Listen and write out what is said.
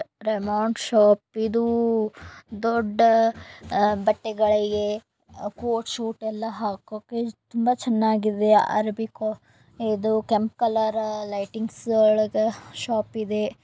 Raymond shop ಇದು ದೊಡ್ಡ ಬಟ್ಟೆಗಳಿಗೆ ಕೋಟ್ ಶೂಟ ಯಲ್ಲ ಹಾಕೋಕೆ ತುಂಬಾ ಚೆನ್ನಾಗಿದೆ ಅರಬಿ ಇದು ಕೆಂಪ್ ಕಲರ್ ಲೈಟಿಂಗ್ ಒಳಗ ಶಾಪ್ ಇದೆ.